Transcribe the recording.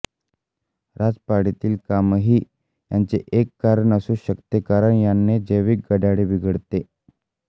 रात्रपाळीतील कामही याचे एक कारण असू शकते कारण याने जैविक घड्याळबिघडते